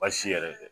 Baasi yɛrɛ tɛ